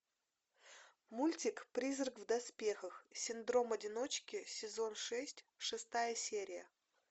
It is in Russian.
мультик призрак в доспехах синдром одиночки сезон шесть шестая серия